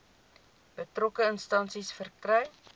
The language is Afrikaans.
betrokke instansie verkry